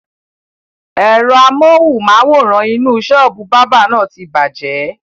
Ẹ̀rọ amohùn-máwórán inú sọ́ọ́bù báábà na ti bàjẹ́